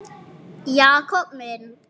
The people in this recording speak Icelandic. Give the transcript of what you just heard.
Allir nema Brimar í Vogi.